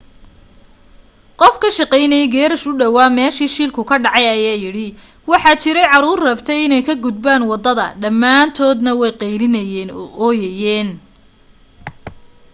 qof ka shaqaynayay geerash u dhowaa meesha shilku ka dhacay ayaa yidhi: waxa jiray caruur rabtay inay ka gudbaan waddada dhammaantoodna way qaylinayeen oo ooyeen.